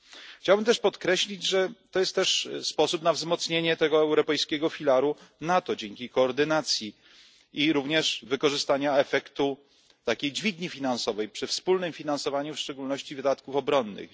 Chciałbym też podkreślić, że to jest też sposób na wzmocnienie tego europejskiego filaru NATO dzięki koordynacji i również wykorzystania efektu takiej dźwigni finansowej przy wspólnym finansowaniu w szczególności wydatków obronnych.